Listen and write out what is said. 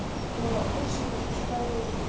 но больше предпочитаю